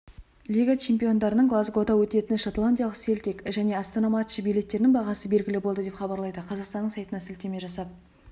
лига чемпиондарының глазгода өтетін шотландиялық селтик және астана матчы билеттерінің бағасы белгілі болды деп хабарлайды қазақстанның сайтына сілтеме жасап